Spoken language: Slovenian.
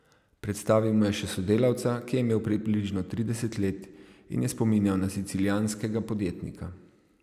Predstavil mu je še sodelavca, ki je imel približno trideset let in je spominjal na sicilijanskega podjetnika.